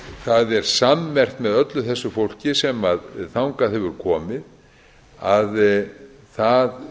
það er sammerkt með öllu þessu fólki sem þangað hefur komið að það